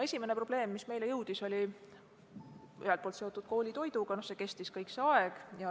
Esimene probleem, mis meieni jõudis, oli seotud koolitoiduga – see kestis kogu selle aja.